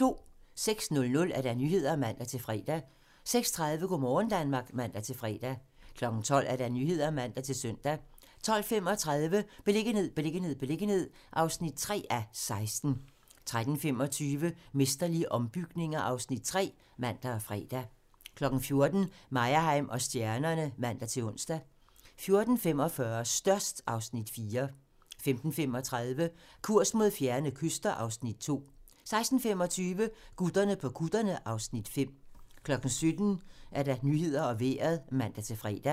06:00: Nyhederne (man-fre) 06:30: Go' morgen Danmark (man-fre) 12:00: Nyhederne (man-søn) 12:35: Beliggenhed, beliggenhed, beliggenhed (3:16) 13:25: Mesterlige ombygninger (Afs. 3)(man og fre) 14:00: Meyerheim & stjernerne (man-ons) 14:45: Størst (Afs. 4) 15:35: Kurs mod fjerne kyster (Afs. 2) 16:25: Gutterne på kutterne (Afs. 5) 17:00: Nyhederne og Vejret (man-fre)